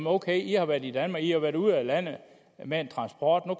ok i har været i danmark i har været ude af landet med en transport nu